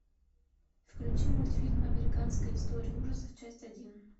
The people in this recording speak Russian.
включи мультфильм американская история ужасов часть один